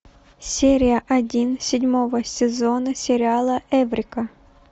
серия один седьмого сезона сериала эврика